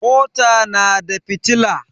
mota tana da fitila